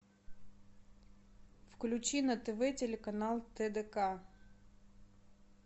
включи на тв телеканал тдк